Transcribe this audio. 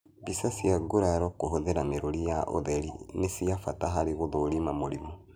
Mbica cia nguraro kũhũthĩra mĩrũri ya ũtheri nĩ cia bata harĩ gũthũrima mũrimũ